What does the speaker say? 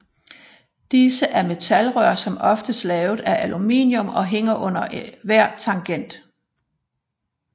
Disse er metalrør som oftest lavet af aluminium og hænger under hver tangent